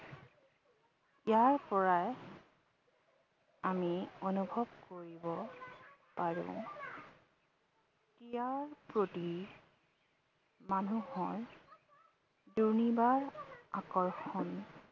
ইয়াৰ পৰাই আমি অনুভৱ কৰিব পাৰো ক্ৰীড়াৰ প্ৰতি মানুহৰ দুৰ্নিবাৰ আকৰ্ষণ